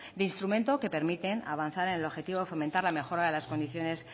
de instrumento que permiten avanzar en el objetivo de fomentar la mejora de las condiciones